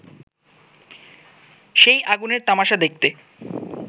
সেই আগুনের তামাশা দেখতে